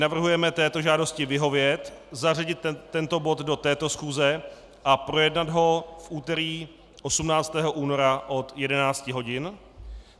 Navrhujeme této žádosti vyhovět, zařadit tento bod do této schůze a projednat ho v úterý 18. února od 11 hodin.